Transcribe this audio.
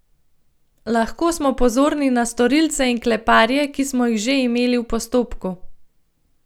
Lahko smo pozorni na storilce in kleparje, ki smo jih že imeli v postopku.